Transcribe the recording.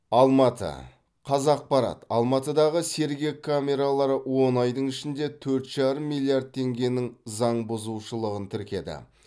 алматы қазақпарат алматыдағы сергек камералары он айдың ішінде төрт жарым миллиард теңгенің заңбұзушылығын тіркеді